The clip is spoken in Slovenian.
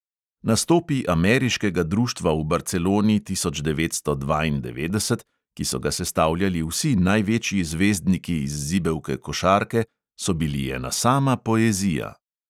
Nastopi ameriškega društva v barceloni tisoč devetsto dvaindevetdeset, ki so ga sestavljali vsi največji zvezdniki iz zibelke košarke, so bili ena sama poezija.